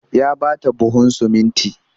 Ya ba ta buhun sumunti